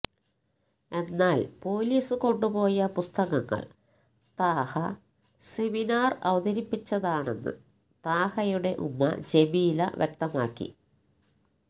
എന്നാല് പൊലീസ് കൊണ്ടുപോയ പുസ്തകങ്ങള് താഹ സെമിനാര് അവതരിപ്പിച്ചതാണെന്ന് താഹയുടെ ഉമ്മ ജമീല വ്യക്തമാക്കി